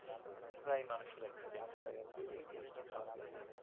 প্রায় মানুষের accident হয় আর কি এই জিনিস টা খারাপ লাগে